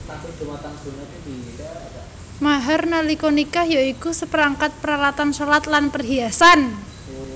Mahar nalika nikah ya iku saperangkat paralatan shalat lan perhiasan